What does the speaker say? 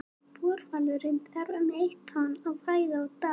Búrhvalurinn þarf um eitt tonn af fæðu á dag.